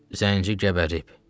Zənci qəbərib.